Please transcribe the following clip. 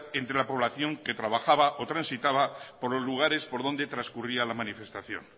entre la población que trabajaba o transitaba por los lugares por donde transcurría la manifestación